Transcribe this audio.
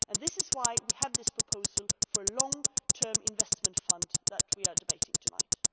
This is why we have this proposal for long term investment funds that we are debating tonight.